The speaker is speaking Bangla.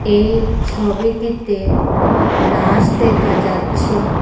এই ছবিটিতে ব্রাশ দেখা যাচ্ছে।